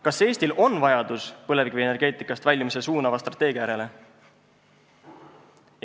Kas Eestil on vajadus põlevkivienergeetikast väljumist suunava strateegia järele?